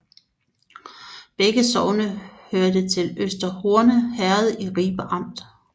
Begge sogne hørte til Øster Horne Herred i Ribe Amt